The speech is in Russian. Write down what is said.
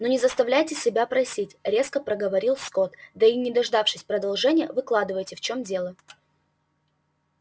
ну не заставляйте себя просить резко проговорил скотт да и не дождавшись продолжения выкладывайте в чём дело